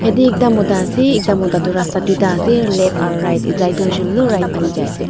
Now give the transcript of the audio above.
yatae ekta mota ase ekta mota tu rasta tuita ase left aro right tai tu hoishey koilae tu right phalae jai ase.